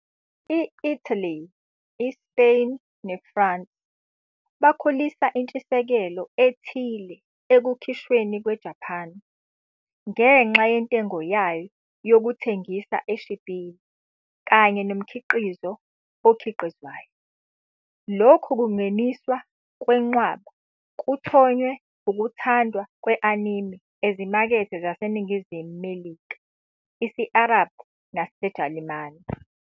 I-Italy, iSpain neFrance bakhulisa intshisekelo ethile ekukhishweni kweJapan, ngenxa yentengo yayo yokuthengisa eshibhile kanye nomkhiqizo okhiqizayo. Lokhu kungeniswa kwenqwaba kuthonye ukuthandwa kwe-anime ezimakethe zaseNingizimu Melika, isi-Arabhu naseJalimane.